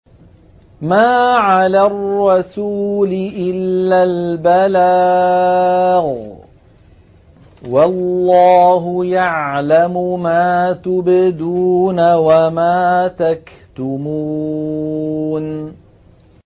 مَّا عَلَى الرَّسُولِ إِلَّا الْبَلَاغُ ۗ وَاللَّهُ يَعْلَمُ مَا تُبْدُونَ وَمَا تَكْتُمُونَ